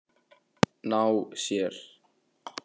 Ná sér?